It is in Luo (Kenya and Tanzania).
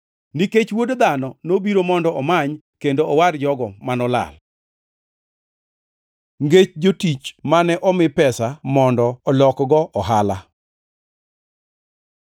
Nikech Wuod Dhano nobiro mondo omany kendo owar jogo manolal.” Ngech jotich mane omi pesa mondo olokgo ohala